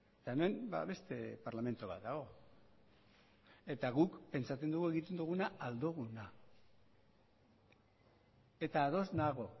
eta hemen beste parlamentu bat dago eta guk pentsatzen dugu egiten dugula ahal duguna eta ados nago